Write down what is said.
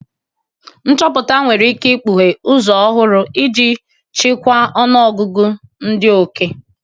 Nchọpụta nwere ike ikpughe ụzọ ọhụrụ iji chịkwaa ọnụ ọgụgụ ndị oke.